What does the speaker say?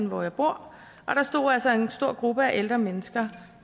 hvor jeg bor og der stod altså en stor gruppe af ældre mennesker